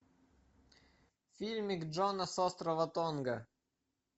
фильмик джона с острова тонга